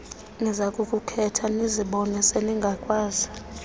nizakukuqhela nizibone seningakwazi